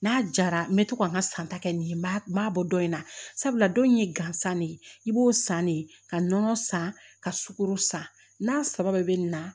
N'a jara n bɛ to ka n ka san ta kɛ nin ye n m'a bɔ in na sabula don in ye gansan de ye i b'o san de ka nɔnɔ san ka sukoro san n'a saba bɛɛ bɛ nin na